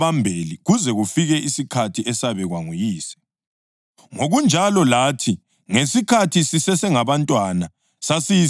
Ngokunjalo lathi ngesikhathi sisesengabantwana sasiyizigqili ngaphansi kwempi yemimoya yalumhlaba.